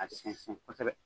A sɛnsɛn kosɛbɛ